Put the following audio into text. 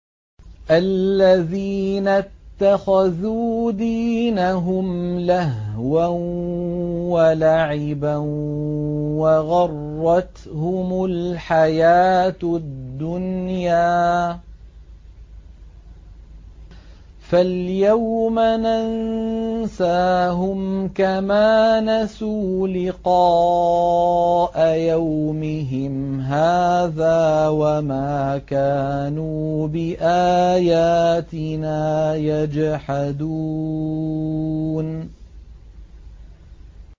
الَّذِينَ اتَّخَذُوا دِينَهُمْ لَهْوًا وَلَعِبًا وَغَرَّتْهُمُ الْحَيَاةُ الدُّنْيَا ۚ فَالْيَوْمَ نَنسَاهُمْ كَمَا نَسُوا لِقَاءَ يَوْمِهِمْ هَٰذَا وَمَا كَانُوا بِآيَاتِنَا يَجْحَدُونَ